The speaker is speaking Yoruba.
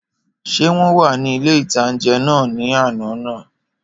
Ṣé wọ́n wà ní ilé-ìtánjẹ náà ní àná náà?